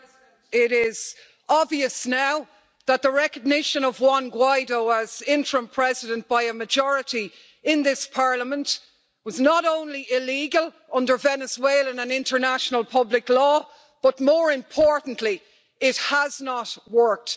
Mr President, it is obvious now that the recognition of Juan Guaidó as interim President by a majority in this Parliament was not only illegal under Venezuelan and international public law, but more importantly, it has not worked.